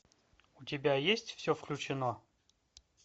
у тебя есть все включено